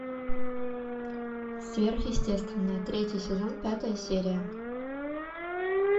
сверхъестественное третий сезон пятая серия